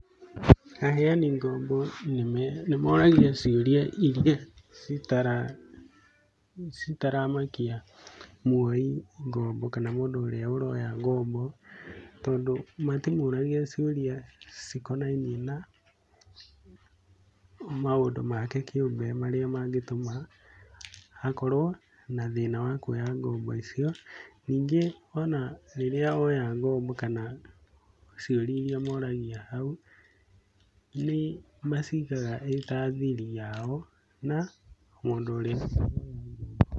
Aheani ngombo nĩmoragia cĩurĩa ĩrĩa cĩtaramakia mũoĩ ngombo kana mũndũ ũrĩa ũroya ngombo, tondũ matĩmũragia cĩurĩa cĩkonaĩinie na maũndũ make kĩumbe marĩa mangĩtuma akorwo na thĩna wa kũoya ngombo ĩcĩo. Nĩngĩ ona rĩrĩa woya ngomo kana cĩurĩa ĩrĩa moragĩa haũ nĩmacĩgaga ĩta thĩri yao na mũndũ ũrĩa woya ngombo ĩyo.